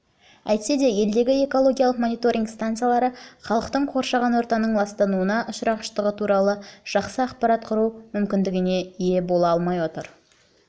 әйтсе де елдегі экологиялық мониторинг станциялары халықтың қоршаған ортаның ластануына ұшырағыштығы туралы жақсы ақпарат құру мүмкіндігіне ие бола алмай отыр